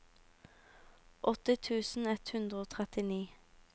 åtti tusen ett hundre og trettini